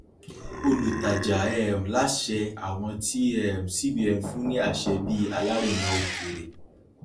olùtajà um láṣẹ àwọn tí um cbn fún ní àṣẹ bí alárinà òkèèrè